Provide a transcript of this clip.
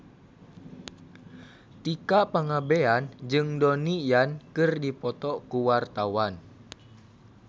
Tika Pangabean jeung Donnie Yan keur dipoto ku wartawan